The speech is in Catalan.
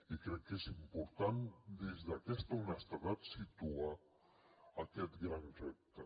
i crec que és important des d’aquesta honestedat situar aquest gran repte